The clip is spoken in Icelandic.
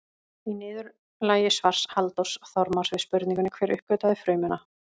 Í niðurlagi svars Halldórs Þormars við spurningunni Hver uppgötvaði frumuna?